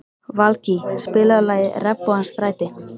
Valgý, spilaðu lagið „Regnbogans stræti“.